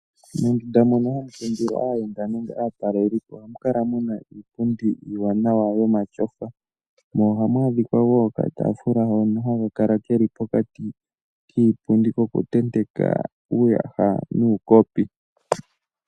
Mondunda mono hamu kundilwa aayenda nenge aatalelipo ohamu kala muna iipundi iiwanawa yomatyofa. Mo ohamu adhikwa wo okataafula hono haka kala keli pokati kiipundi kokutenteka uuyaha nuukopi.